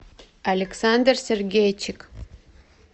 александр сергейчик